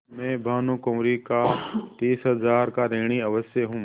हाँ मैं भानुकुँवरि का तीस हजार का ऋणी अवश्य हूँ